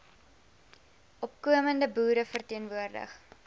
opkomende boere verteenwoordig